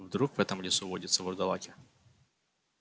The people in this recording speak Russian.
вдруг в этом лесу водятся вурдалаки